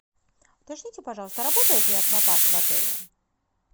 уточните пожалуйста работает ли аквапарк в отеле